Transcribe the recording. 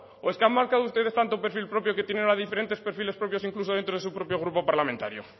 o es que han marcado ustedes tanto un perfil propio que tiene a diferentes perfiles propios incluso dentro de su propio grupo parlamentario